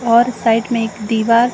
और साइड में एक दीवार --